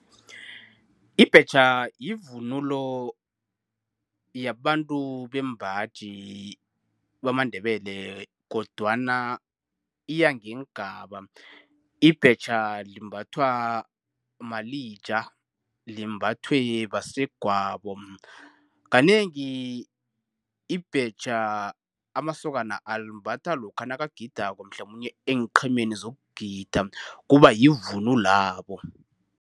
Ibhetjha yivunulo yabantu bembaji bamaNdebele, kodwana iya ngeengaba. Ibhetja limbathwa malija. Limbathwe basegwabo. Kanengi ibhetjha amasokana alimbatha lokha nakagidako mhlamunye eenqhemeni zokugida, kuba yivunulwabo.